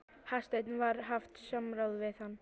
Hafsteinn: Var haft samráð við hann?